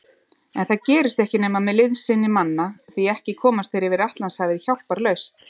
En það gerist ekki nema með liðsinni manna, því ekki komast þeir yfir Atlantshafið hjálparlaust.